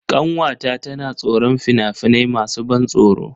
Ƙanwata tana tsoron fina-finai masu ban tsoro.